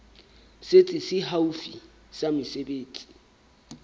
setsi se haufi sa mesebetsi